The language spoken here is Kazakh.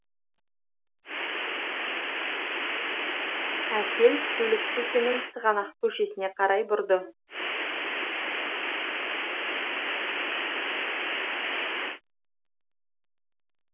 әсел көлік тізгінін сығанақ көшесіне қарай бұрды